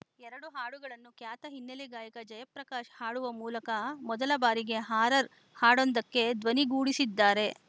ಎರಡು ಹಾಡುಗಳನ್ನು ಖ್ಯಾತ ಹಿನ್ನೆಲೆ ಗಾಯಕ ಜಯಪ್ರಕಾಶ್‌ ಹಾಡುವ ಮೂಲಕ ಮೊದಲ ಬಾರಿಗೆ ಹಾರರ್‌ ಹಾಡೊಂದಕ್ಕೆ ಧ್ವನಿಗೂಡಿಸಿದ್ದಾರೆ